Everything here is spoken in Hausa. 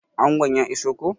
Angon ya iso koh?